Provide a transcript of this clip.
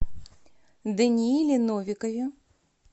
данииле новикове